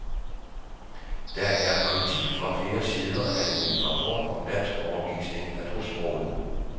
Der er kritik fra flere sider af ny rapport om danskundervisning af tosprogede.